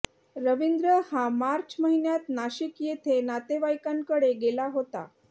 रविंद्र हा मार्च महिन्यात नाशिक येथे नातेवाईकांकडे गेला होता